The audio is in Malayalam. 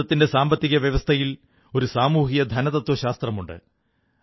ഭാരതത്തിന്റെ സാമ്പത്തിക വ്യവസ്ഥയിൽ ഒരു സാമൂഹിക ധനതത്വശാസ്ത്രമുണ്ട്